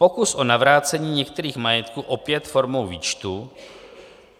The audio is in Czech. Pokus o navrácení některých majetků opět formou výčtu;